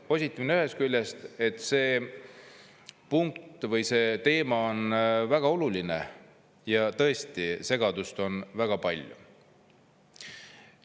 Positiivne ühest küljest, et see punkt või see teema on väga oluline ja tõesti segadust on väga palju.